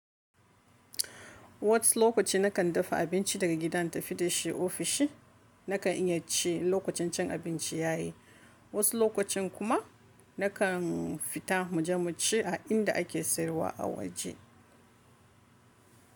Wasu lokaci na kan dafa abinci daga gida na tafi da shi ofishi, na kan iya ci lokacin cin abinci ya yi, wasu lokacin kuma na kan fita muje mu ci a inda ake sayarwa a waje.